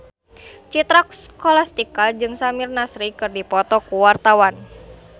Citra Scholastika jeung Samir Nasri keur dipoto ku wartawan